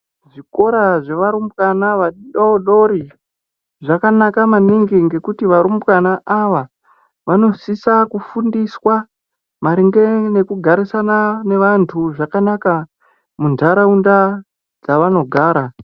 Zvikora zvevarumbwana vadoodori zvakanaka maningi ngekuti varumbwana ava vanosisa kufundiswa maringe nekugarisana nevantu zvakanaka muntaraunda dzavanogara.